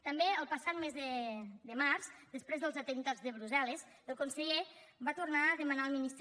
també el passat mes de març després dels atemptats de brussel·les el conseller va tornar a demanar al ministre